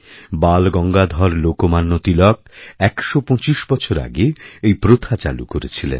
বালগঙ্গাধর লোকমান্য তিলক ১২৫ বছর আগে এই প্রথা চালুকরেছিলেন